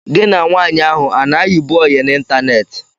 Gị na nwaanyị ahụ a na-ayibu oyị n'ịntaneetị?